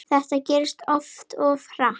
Þetta gerðist allt of hratt.